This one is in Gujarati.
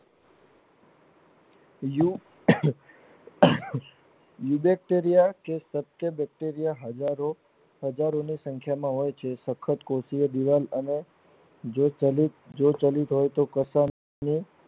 બીજું વિગત કરીયે કે Bacteria હજારો હજારો સંખ્યા માં હોય છે સખત કોષીય દીવાલ અને જે ચલિત હોય તે કરતા